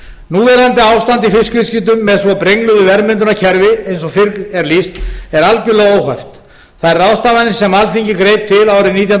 ástand í fiskviðskiptum með svo brengluðu verðmyndunarkerfi eins og fyrr er lýst er algjörlega óhæft þær ráðstafanir sem alþingi greip til árið nítján hundruð níutíu